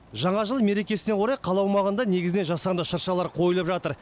жаңа жыл мерекесіне орай қала аумағында негізінен жасанды шыршалар қойылып жатыр